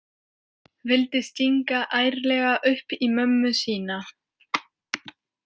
Vildi stinga ærlega upp í mömmu sína.